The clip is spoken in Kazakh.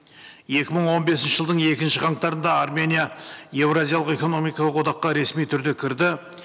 екі мың он бесінші жылдың екінші қаңтарында армения еуразиялық экономикалық одаққа ресми түрде кірді